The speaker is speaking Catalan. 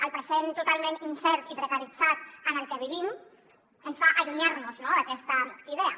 el present totalment incert i precaritzat en el que vivim ens fa allunyar d’aquesta idea